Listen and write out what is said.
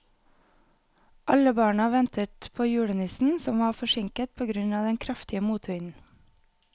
Alle barna ventet på julenissen, som var forsinket på grunn av den kraftige motvinden.